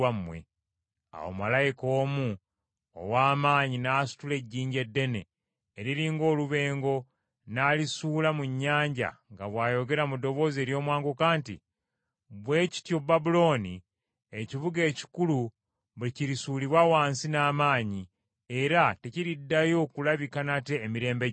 Awo malayika omu ow’amaanyi n’asitula ejjinja eddene eriri ng’olubengo n’alisuula mu nnyanja nga bw’ayogera mu ddoboozi ery’omwanguka nti, “Bwe kityo Babulooni, ekibuga ekikulu bwe kirisuulibwa wansi n’amaanyi, era tekiriddayo kulabika nate emirembe gyonna.